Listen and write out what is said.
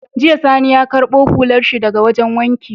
Jiya sani ya karbo hular shi daka wajan wanki